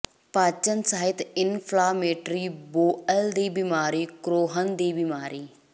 ਪਾਚਨ ਸਿਹਤ inflammatory bowel ਦੀ ਬਿਮਾਰੀ ਕਰੋਹਨ ਦੀ ਬੀਮਾਰੀ